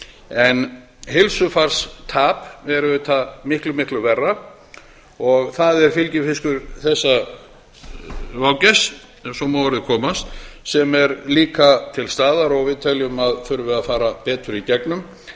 en heilsufarstap er auðvitað miklu miklu verra og það er fylgifiskur þessa vágests ef svo má að orði komast sem er líka til staðar og við teljum að þurfi að fara betur í gegnum